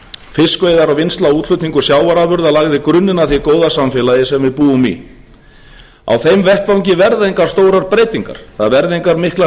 fiskveiðar og vinnsla og útflutningur sjávarafurða lagði grunninn að því góða samfélagi sem við búum í á þeim vettvangi verða engar stórar breytingar það verða engar miklar